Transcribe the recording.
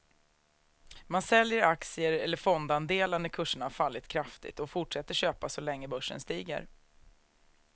Man säljer aktier eller fondandelar när kurserna har fallit kraftigt och fortsätter köpa så länge börsen stiger.